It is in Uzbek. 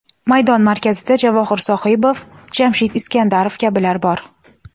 Maydon markazida Javohir Sohibov, Jamshid Iskandarov kabilar bor.